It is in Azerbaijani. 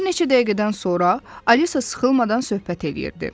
Bir neçə dəqiqədən sonra Alisa sıxılmadan söhbət eləyirdi.